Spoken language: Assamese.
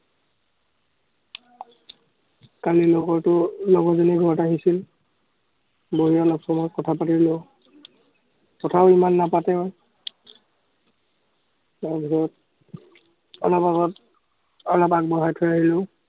কালি লগৰটো লগৰজনীৰ ঘৰত আহিছিল, বহী অলপ সময় কথা পাতিলো। কথাও ইমান নাপাতে, তাৰ পিছত অলপ আগত অলপ আগবঢ়াই থৈ আহিলো।